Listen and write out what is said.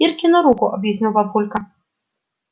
иркину руку объяснил папулька